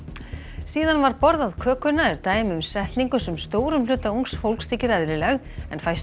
síðan var borðað kökuna er dæmi um setningu sem stórum hluta ungs fólks þykir eðlileg en fæstum